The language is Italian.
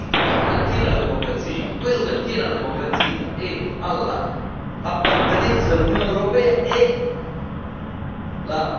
Quello che attiene alla democrazia e all'appartenenza all'Unione europea è la pena di morte, è l'idea di una democrazia illiberale.